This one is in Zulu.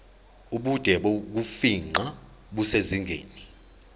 ubude bokufingqa kusezingeni